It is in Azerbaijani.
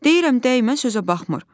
Deyirəm dəymə sözə baxmır.